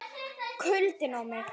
KULDINN á mig.